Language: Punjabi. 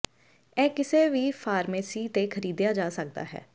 ਇਹ ਕਿਸੇ ਵੀ ਫਾਰਮੇਸੀ ਤੇ ਖਰੀਦਿਆ ਜਾ ਸਕਦਾ ਹੈ